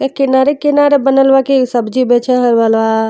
एक किनारे-किनारे बनल बा की सब्जी बेचे है वाला।